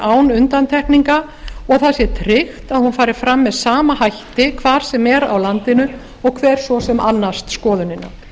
án undantekninga og það sé tryggt að hún fari fram með sama hætti hvar sem er á landinu og hver svo sem annast skoðunina